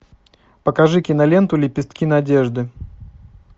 покажи киноленту лепестки надежды